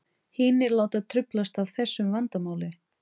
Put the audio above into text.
Hinir láta truflast af þessu vandamáli.